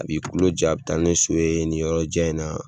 A b'i kulo ja a bɛ taa ni so ye ni yɔrɔ jan in na,